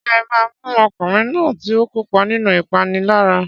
Ṣé ẹ máa mú ọkùnrin náà tí ó kópa nínú ìpániláyà?